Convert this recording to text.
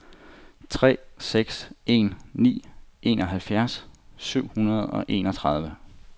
tre seks en ni enoghalvfjerds syv hundrede og enogtredive